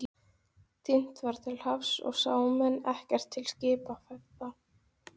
Sú áminning var vitaskuld einungis formsatriði!